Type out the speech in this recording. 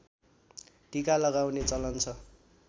टीका लगाउने चलन छ